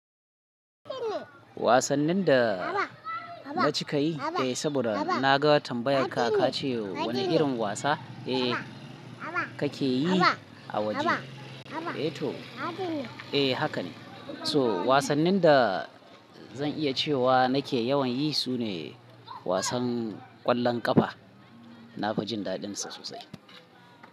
Wasannin dana cika yi, eh saboda naga tambayar ka, ka ce wani irin wasa eh kake yi a waje? Eh to, eh haka ne. So wasannin da zan iya cewa nake yawan yi sune wasan ƙwallon ƙafa. Nafi jin daɗin sa sosai.